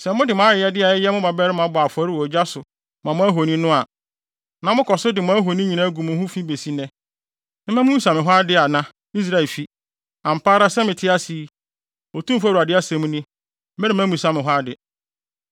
Sɛ mode mo ayɛyɛde a ɛyɛ mo mmabarima bɔ afɔre wɔ ogya so ma mo ahoni a, na mokɔ so de mo ahoni nyinaa gu mo ho fi besi nnɛ. Memma mommebisa me hɔ ade ana, Israelfi? Ampa ara sɛ mete ase yi, Otumfo Awurade asɛm ni, meremma mummmisa me hɔ ade.